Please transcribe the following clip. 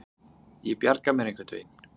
Ég bjarga mér einhvern veginn.